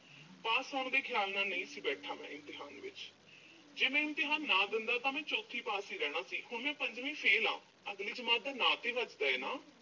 pass ਹੋਣ ਦੇ ਖਿਆਲ ਨਾਲ ਨਹੀਂ ਸੀ ਬੈਠਾ ਮੈਂ ਇਮਤਿਹਾਨ ਵਿੱਚ। ਜੇ ਮੈਂ ਇਮਤਿਹਾਨ ਨਾ ਦਿੰਦਾ ਤਾਂ ਮੈਂ ਚੌਥੀ ਪਾਸ ਹੀ ਰਹਿਣਾ ਸੀ। ਹੁਣ ਮੈਂ ਪੰਜਵੀਂ fail ਆਂ, ਅਗਲੀ ਜਮਾਤ ਦਾ ਨਾਂਅ ਤੇ ਵੱਜਦਾ ਏ ਨਾ ਅਹ